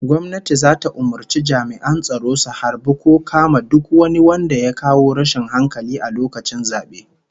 Gwamnati zata umurci jami'an tsaro su harbi ko kama duk wani wanda ya kawo rashin hankali a lokacin zabe